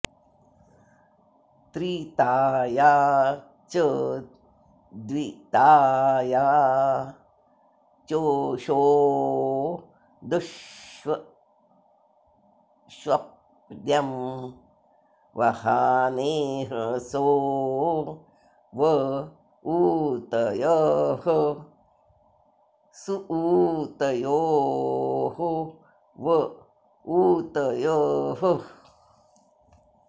त्रि॒ताय॑ च द्वि॒ताय॒ चोषो॑ दु॒ष्ष्वप्न्यं॑ वहाने॒हसो॑ व ऊ॒तयः॑ सुऊ॒तयो॑ व ऊ॒तयः॑